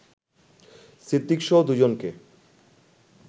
সিদ্দিকসহ দুই জনকে